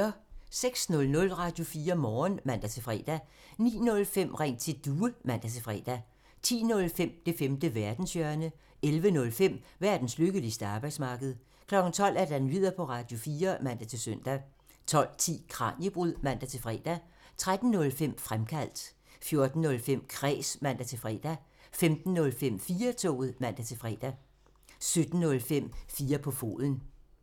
06:00: Radio4 Morgen (man-fre) 09:05: Ring til Due (man-fre) 10:05: Det femte verdenshjørne (man) 11:05: Verdens lykkeligste arbejdsmarked (man) 12:00: Nyheder på Radio4 (man-søn) 12:10: Kraniebrud (man-fre) 13:05: Fremkaldt (man) 14:05: Kræs (man-fre) 15:05: 4-toget (man-fre) 17:05: 4 på foden (man)